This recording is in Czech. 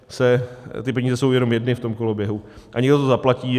Ty peníze jsou jenom jedny v tom koloběhu a někdo to zaplatí.